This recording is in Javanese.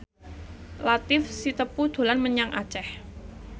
Latief Sitepu dolan menyang Aceh